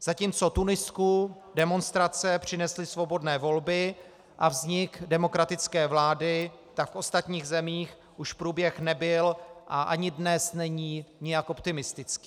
Zatímco Tunisku demonstrace přinesly svobodné volby a vznik demokratické vlády, tak v ostatních zemích už průběh nebyl a ani dnes není nijak optimistický.